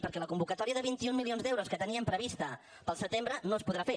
perquè la convocatòria de vint un milions d’euros que teníem prevista per al setembre no es podrà fer